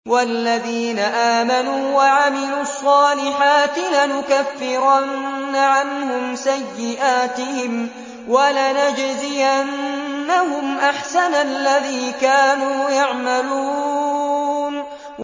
وَالَّذِينَ آمَنُوا وَعَمِلُوا الصَّالِحَاتِ لَنُكَفِّرَنَّ عَنْهُمْ سَيِّئَاتِهِمْ وَلَنَجْزِيَنَّهُمْ أَحْسَنَ الَّذِي كَانُوا يَعْمَلُونَ